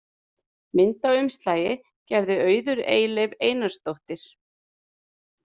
Mynd á umslagi gerði Auður Eyleif Einarsdóttir.